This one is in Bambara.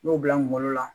N y'o bila n kungolo la